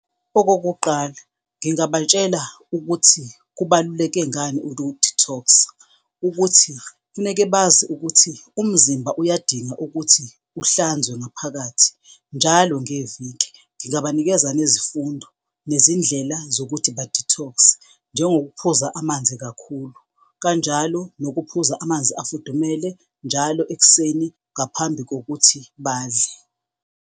Okokuqala, ngingabatshela ukuthi kubaluleke ngani uku-detox-a ukuthi funeke bazi ukuthi umzimba uyadinga ukuthi uhlanzwe ngaphakathi njalo ngeviki. Ngingabanikeza nezifundo, nezindlela zokuthi ba-detox-e njengokuphuza amanzi kakhulu, kanjalo nokuphuza amanzi afudumele njalo ekuseni ngaphambi kokuthi badle.